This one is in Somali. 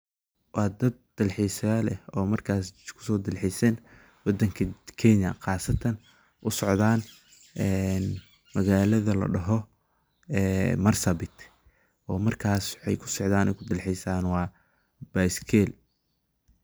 Waa dalxisayal ah oo markas uso dal xisen wadankan Kenya , oo qasatan u socdan magalada ladoho Marsabit oo markas u ku socdan dalxisan baskil.